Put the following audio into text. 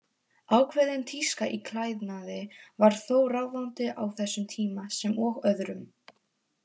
Ákveðin tíska í klæðnaði var þó ráðandi á þessum tíma, sem og öðrum.